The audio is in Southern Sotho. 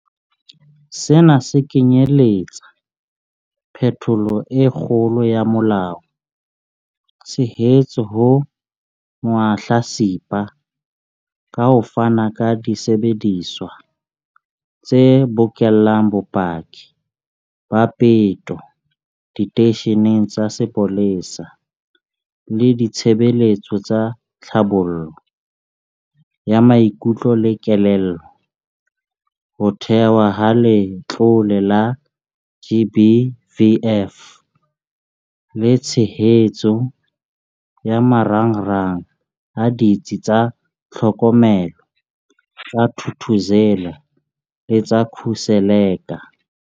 Sena se kenyeletsa phetholo e kgolo ya molao, tshehetso ho mahlatsipa ka ho fana ka disebediswa tse bokellang bopaki ba peto diteisheneng tsa sepolesa le ditshebeletso tsa tlhabollo ya maikutlo le kelello, ho thehwa ha Letlole la GBVF le tshehetso ya marangrang a Ditsi tsa Tlhokomelo tsa Thuthuzela le tsa Khuseleka.